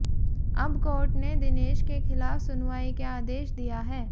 अब कोर्ट ने दिनेश के खिलाफ सुनवाई के आदेश दिया हैं